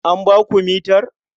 An ba ku mitar?